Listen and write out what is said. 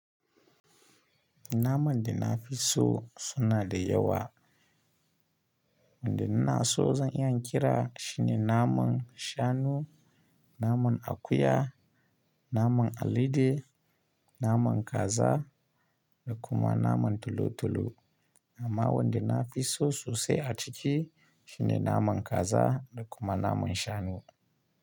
Naman da na fi so suna da yawa. Wanda ina so zan iya in kira shine naman shanu, naman akuya, naman alade, naman kaza da kuma naman tulu tulu. Amma wanda na fi so sosai a ciki shine naman kaza da kuma naman shanu.